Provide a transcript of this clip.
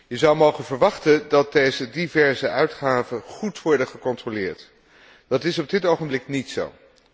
Je zou mogen verwachten dat deze diverse uitgaven goed worden gecontroleerd. Dat is op dit ogenblik niet zo.